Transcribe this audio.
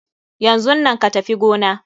Yanzun nan ka Tafi gona!